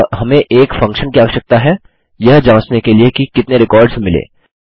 अतः हमें एक फंक्शन की आवश्यकता है यह जाँचने के लिए कि कितने रिकॉर्ड्स मिले